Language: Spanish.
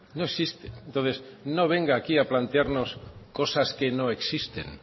no existe entonces no venga aquí a plantearnos cosas que no existen